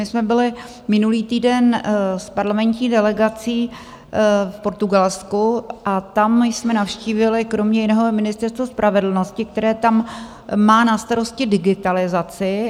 My jsme byli minulý týden s parlamentní delegací v Portugalsku a tam jsme navštívili kromě jiného Ministerstvo spravedlnosti, které tam má na starosti digitalizaci.